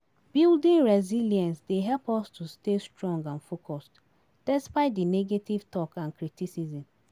Building resilience dey help us to stay strong and focused, despite di negative talk and criticism.